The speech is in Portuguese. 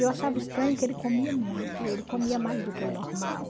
Eu achava estranho que ele comia muito, ele comia mais do que o normal.